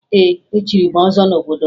Ee, echiri m ọzọ n'obodo m